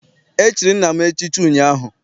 E chiri nna m echichi ụnyaahụ.